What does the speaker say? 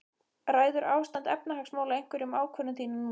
Ræður ástand efnahagsmála einhverju um ákvörðun þína núna?